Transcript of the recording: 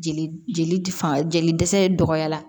Jeli jeli fanga jeli dɛsɛ dɔgɔya la